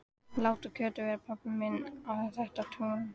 Láttu Kötu vera, pabbi minn á þetta tún!